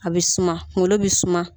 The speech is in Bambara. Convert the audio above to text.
A bɛ suma kunkolo bɛ suma